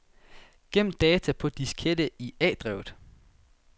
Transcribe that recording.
Gem data på diskette i A-drevet.